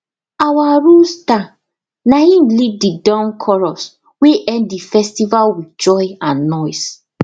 our rooster naim lead the dawn chorus wey end the festival with joy and noise